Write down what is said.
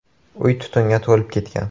Uy tutunga to‘lib ketgan.